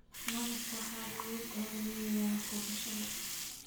Malabka waxaa lagu daaweeyaa gubashada.